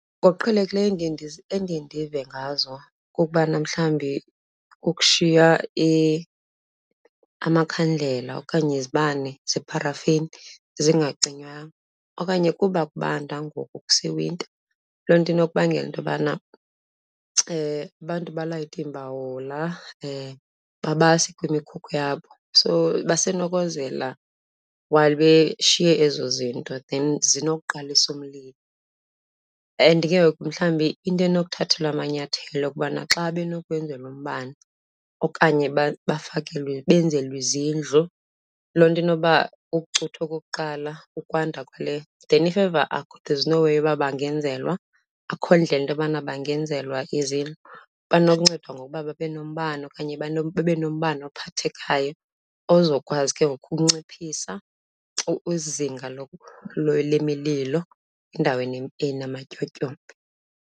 Ngokuqhelekileyo endiye endiye ndive ngazo kukubana mhlawumbi kukushiya amakhandlela okanye izibane zeparafini zingacinywanyanga. Okanye kuba kubanda ngoku kusewinta, loo nto inokubangela into yobana abantu alayite iimbawula babase kwimikhukhu yabo, so basenokozela while beshiye ezo zinto then zokuqalisa umlilo. And ke ngoku mhlawumbi into enokuthathelwa amanyathelo kukubana xa benokwenzelwa umbane okanye bafakelwe, benzelwe izindlu, loo nto inoba ukucutha okokuqala ukwanda kwale. Then if ever there's no way ukuba bangenzelwa, akukho indlela into yobana bangenzelwa izindlu, bunokuncendwa ngokuba babe nombane okanye babe nombane ophathekhaya ozokwazi ke ngoku ukunciphisa izinga lwemililo endaweni enamatyotyombe.